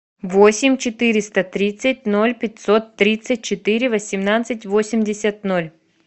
восемь четыреста тридцать ноль пятьсот тридцать четыре восемнадцать восемьдесят ноль